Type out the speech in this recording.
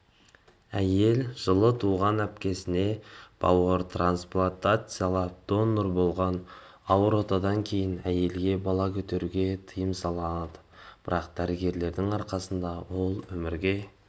әйел жылы туған әпкесіне бауыр трансплатациялап донор болған ауыр отадан кейін әйелге бала көтеруге тыйым салынды бірақ дәрігерлердің арқасында ол өмірге